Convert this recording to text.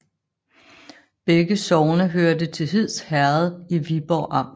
Begge sogne hørte til Hids Herred i Viborg Amt